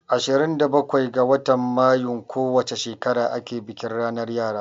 Ashirin da bakwai ga watan Mayun ko wace shekara ake bikin ranar yara.